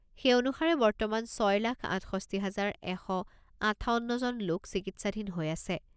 সেই অনুসাৰে বৰ্তমান ছয় লাখ আঠষষ্ঠি হাজাৰ এশ আঠাৱন্নজন লোক চিকিৎসাধীন হৈ আছে।